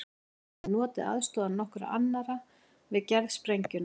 Hann hafði notið aðstoðar nokkurra annarra við gerð sprengjunnar.